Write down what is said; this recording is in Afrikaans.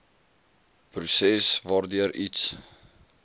proses waardeur iets